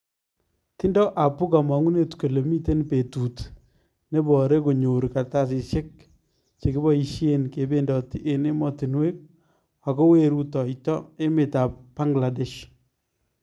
Tindo Apu kamang'unet kole miten betut neboree konyoor kartasisyeek chekibaisyeen kebendoti en emotinweek ako wee rutoyto emeetab Bangladesh.